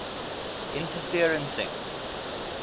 interferencing